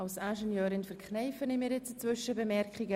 Als Ingenieurin verkneife ich mir nun eine Zwischenbemerkung.